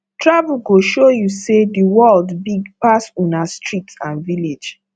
travel go show you say the world big pass una street and village